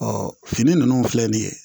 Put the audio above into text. fini nunnu filɛ nin ye